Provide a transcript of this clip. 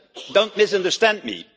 Don't misunderstand me